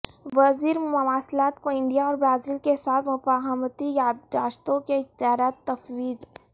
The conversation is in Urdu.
وزیر مواصلات کو انڈیا اور برازیل کے ساتھ مفاہمتی یادداشتوں کےاختیارات تفویض